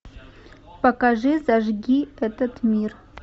покажи зажги этот мир